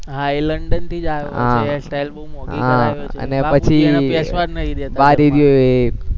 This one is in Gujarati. હા એ લંડનથી જ આયો હોય છે hair style બોવ